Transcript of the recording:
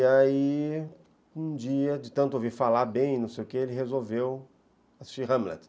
E aí, um dia, de tanto ouvir falar bem, não sei o quê, ele resolveu assistir Hamlet.